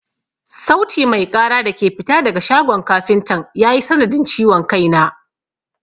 Sauti mai ƙara da ke fita daga shagon kafintan ya yi sanadin ciwon kai na.